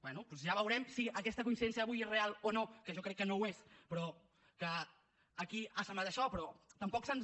bé doncs ja veurem si aquesta coincidència d’avui és real o no que jo crec que no ho és però que aquí ha semblat això però tampoc se’ns